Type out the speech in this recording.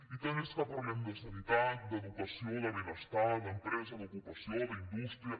i tant és que parlem de sanitat d’educació de benestar d’empresa d’ocupació d’indústria